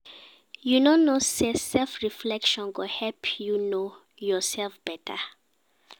You no know sey self-reflection go help you know yoursef beta?